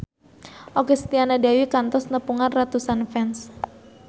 Okky Setiana Dewi kantos nepungan ratusan fans